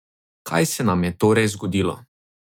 Kaj se nam je torej zgodilo?